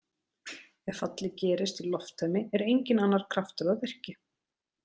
Ef fallið gerist í lofttæmi er enginn annar kraftur að verki.